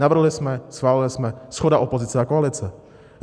Navrhli jsme, schválili jsme, shoda opozice a koalice.